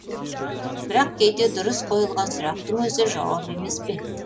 бірақ кейде дұрыс қойылған сұрақтың өзі жауап емес пе